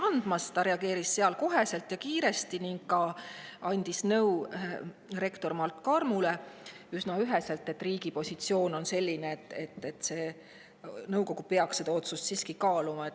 Ta reageeris kohe ja kiiresti ning andis rektor Mart Kalmule üsna ühest nõu, et riigi positsioon on selline, et nõukogu peaks seda otsust siiski kaaluma.